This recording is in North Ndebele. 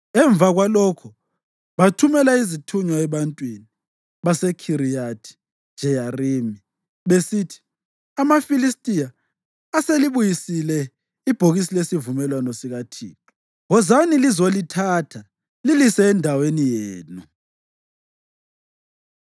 Emva kwalokho bathumela izithunywa ebantwini baseKhiriyathi-Jeyarimi, besithi, “AmaFilistiya aselibuyisile ibhokisi lesivumelwano sikaThixo. Wozani lizolithatha lilise endaweni yenu.”